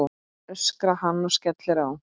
öskrar hann og skellir á.